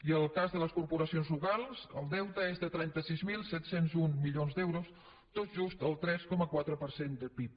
i en el cas de les corporacions locals el deute és de trenta sis mil set cents i un milions d’euros tot just el tres coma quatre per cent del pib